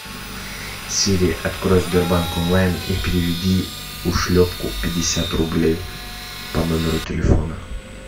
сири открой сбербанк онлайн и переведи ушлепку пятьдесят рублей по номеру телефона